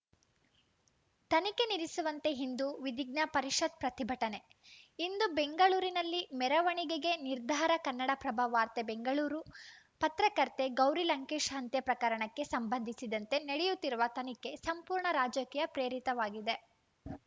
ತನಿಖೆ ನಿಲ್ಲಿಸುವಂತೆ ಹಿಂದೂ ವಿಧಿಜ್ಞ ಪರಿಷತ್‌ ಪ್ರತಿಭಟನೆ ಇಂದು ಬೆಂಗಳೂರಿನಲ್ಲಿ ಮೆರವಣಿಗೆಗೆ ನಿರ್ಧಾರ ಕನ್ನಡಪ್ರಭ ವಾರ್ತೆ ಬೆಂಗಳೂರು ಪತ್ರಕರ್ತೆ ಗೌರಿ ಲಂಕೇಶ್‌ ಹಂತ್ಯೆ ಪ್ರಕರಣಕ್ಕೆ ಸಂಬಂಧಿಸಿದಂತೆ ನಡೆಯುತ್ತಿರುವ ತನಿಖೆ ಸಂಪೂರ್ಣ ರಾಜಕೀಯ ಪ್ರೇರಿತವಾಗಿದೆ